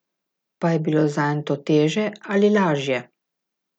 Pa je bilo zanj to teže ali lažje?